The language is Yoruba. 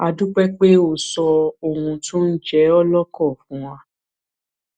a dúpẹ pé o sọ ohun tó ń jẹ ọ lọkàn fún wa